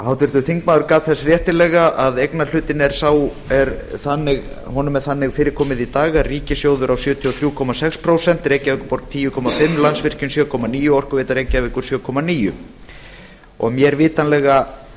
háttvirtur þingmaður gat þess réttilega að eignarhlutanum er þannig fyrirkomið í dag að ríkissjóður á sjötíu og þrjú komma sex prósent reykjavíkurborg tíu komma fimm prósent landsvirkjun sjö komma níu prósent og orkuveita reykjavíkur sjö komma níu prósent og mér vitanlega